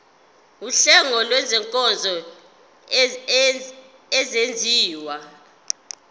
wuhlengo lwezinkonzo ezenziwa